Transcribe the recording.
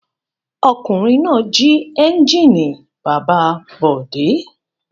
Ọkùnrin náà jí ẹ́ńjínì bàbá Bọ̀dé.